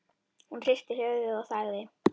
Hún hristi höfuðið og þagði.